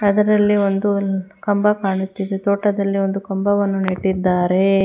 ಇದರಲ್ಲಿ ಒಂದು ನಿ ಕಂಬ ಕಾಣುತ್ತಿದೆ ತೋಟದಲ್ಲಿ ಒಂದು ಕಂಬವನ್ನು ನೆಟ್ಟಿದ್ದಾರೆ.